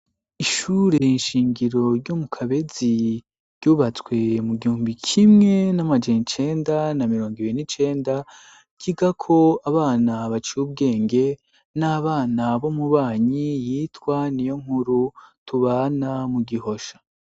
ishure inshingiro ryomu kabezi yubatswe mu gihumbi kimwe n'amajencenda na mirongo ibe n'icenda kiga ko abana baciy ubwenge n'abana bomubanyi yitwa n'iyo nkuru tubana mu gihosha.